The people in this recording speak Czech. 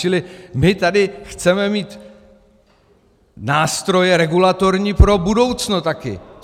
Čili my tady chceme mít nástroje regulatorní pro budoucno taky.